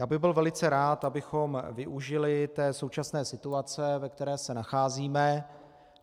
Já bych byl velice rád, abychom využili té současné situace, ve které se nacházíme.